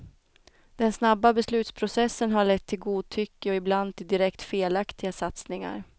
Den snabba beslutsprocessen har lett till godtycke och ibland till direkt felaktiga satsningar.